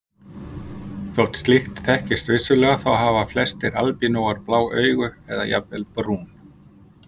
Þótt slíkt þekkist vissulega þá hafa flestir albínóar blá augu eða jafnvel brún.